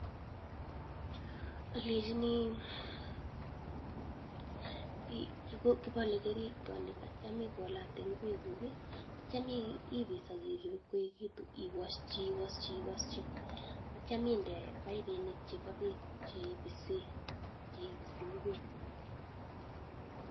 Alechini kipale keringonik atyam ikolate ngwek kuk atyam ipis akirip ipkoechekitu iwaschi iwaschi , atyam inde paipinik chepo bek che ipisi ngwek.